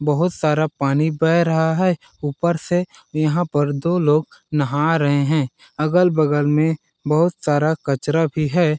बहुत सारा पानी बेह रहा हैऊपर से यहाँ पे दो लोग नाहा रहे है अगल-बगल में बहुत सारा कचरा भी है।